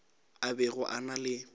a bego a na le